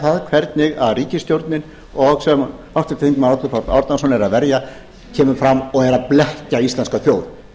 sé hvernig ríkisstjórnin og sem háttvirtur þingmaður árni páll árnason er að verja kemur fram og er að blekkja íslenska þjóð